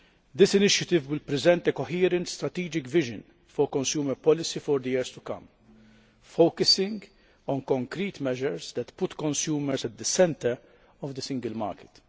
This initiative will present a coherent, strategic vision for consumer policy for the years to come, focusing on concrete measures that put consumers at the centre of the Single Market.